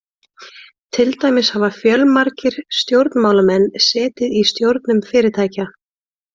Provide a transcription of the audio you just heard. Til dæmis hafa fjölmargir stjórnmálamenn setið í stjórnum fyrirtækja.